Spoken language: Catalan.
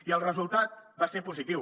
i el resultat va ser positiu